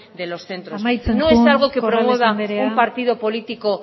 de los centros amaitzen joan corrales anderea no es algo que promueva un partido político